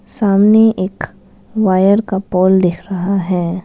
सामने एक वायर का पोल दिख रहा है।